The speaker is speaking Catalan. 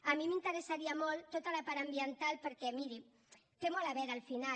a mi m’interessaria molt tota la part ambiental perquè miri té molt a veure al final